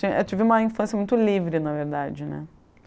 ti eu tive uma infância muito livre, na verdade, né?